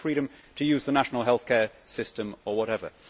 I have a freedom to use the national healthcare system or whatever.